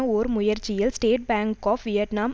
ஓர் முயற்சியில் State Bank of Vietnam